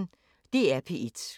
DR P1